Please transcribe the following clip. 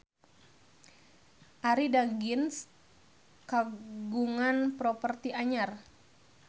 Arie Daginks kagungan properti anyar